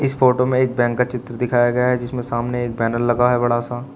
Photo में एक bank का चित्र दिखाया गया है जिसमें सामने एक बैनर लगा है बड़ा सा।